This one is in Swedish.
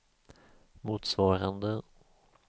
motsvarande